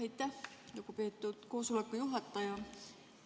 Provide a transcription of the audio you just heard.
Aitäh, lugupeetud koosoleku juhataja!